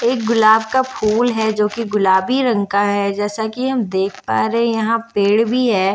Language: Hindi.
एक गोलाप का फुल है जो की गुलाबी रंग का है जैसा की हम देख पा रहे एह पैर भी है।